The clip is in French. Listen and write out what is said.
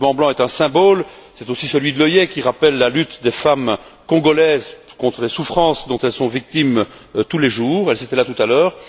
Ce ruban blanc est un symbole, c'est aussi celui de l'œillet qui rappelle la lutte des femmes congolaises contre les souffrances dont elles sont victimes tous les jours elles étaient là tout à l'heure.